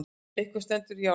Eitthvað stendur í járnum